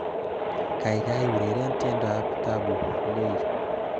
Kaikai ureren tiendoab Tabu Ley